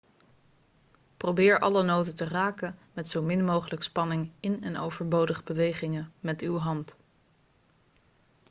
probeer alle noten te raken met zo min mogelijk spanning in en overbodige bewegingen met uw hand